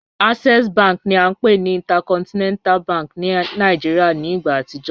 Access bank ni a npe ni Intercontinental bank ti Nigeria ni igba atijọ